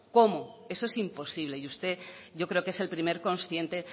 cómo eso es imposible y usted yo creo que es el primer consciente